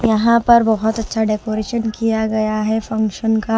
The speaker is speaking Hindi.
यहां पर बहुत अच्छा डेकोरेशन किया गया है फंक्शन का--